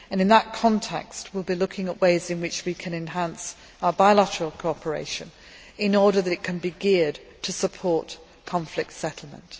In that context we will be looking at ways in which we can enhance our bilateral cooperation in order that it can be geared to support conflict settlement.